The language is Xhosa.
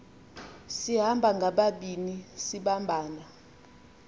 sihamba ngababini sibambana